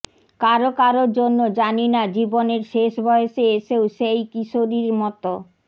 কারও কারও জন্য জানি না জীবনের শেষ বয়সে এসেও সেই কিশোরীর মত